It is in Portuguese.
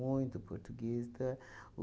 português então